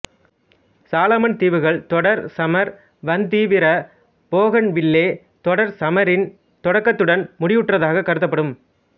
சாலமன் தீவுகள் தொடர் சமர் வந்தீவிர போகன்வில்லே தொடர்சமரின் தொடக்கத்துடன் முடிவுற்றதாக கருதப்படும்